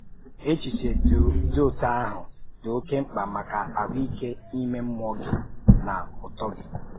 Échíche dị otú ahụ dị òkè mkpa maka ahụ́íkè ímé mmụọ́ gị na ùtó gị.